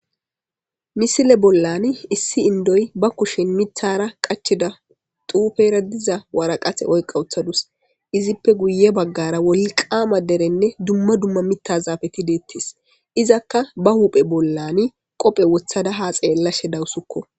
misile bollani issi indoy ba kushen mithara qachida tuufera diza waraqate oyqawuthadus izippe guye baggara wolqaama derenne dumma dumma mitta zaafeti deettis izakka ba huuphe bollani qophe wothada ha xeellashe dawussukko